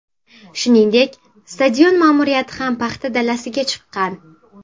Shuningdek, stadion ma’muriyati ham paxta dalasiga chiqqan.